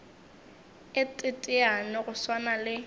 a teteane go swana le